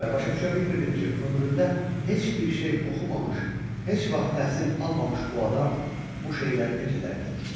Və başa düşə bilmirdim ki, ömründə heç bir şey oxumamış, heç vaxt təhsil almamış bu adam bu şeyləri necə dərk etmişdi.